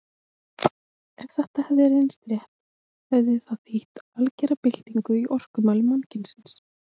Ef þetta hefði reynst rétt hefði það þýtt algera byltingu í orkumálum mannkynsins.